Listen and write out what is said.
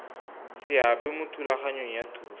seabe mo thulaganyong ya thuso